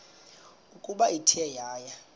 ukuba ithe yaya